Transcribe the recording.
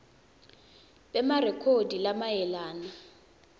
b emarekhodi lamayelana